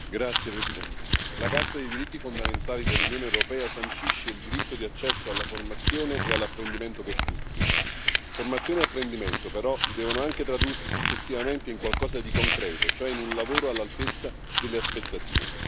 Signora Presidente, onorevoli colleghi, la Carta dei diritti fondamentali dell'Unione europea sancisce il diritto di accesso alla formazione e all'apprendimento per tutti. Formazione e apprendimento, però, devono anche tradursi successivamente in qualcosa di concreto, cioè in un lavoro all'altezza delle aspettative.